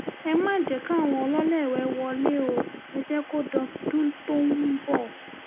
ẹ má jẹ́ káwọn ọlọ́lẹ́ẹ̀wé wọlé ọ ẹ jẹ́ kó dọdún tó ń bọ̀